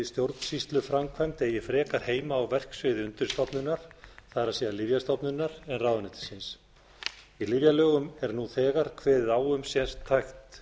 stjórnsýsluframkvæmd eigi frekar heima á verksviði undirstofnunar það er lyfjastofnunar en ráðuneytisins í lyfjalögum er nú þegar kveðið á um sértækt